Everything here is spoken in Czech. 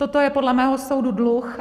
Toto je podle mého soudu dluh.